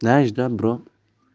знаешь да бро